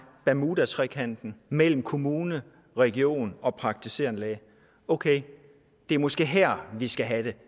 bermudatrekanten mellem kommune region og praktiserende læge okay det er måske her vi skal have